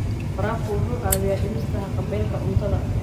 Waraabka wuxuu caawiyaa dhimista haqab-beelka cuntada.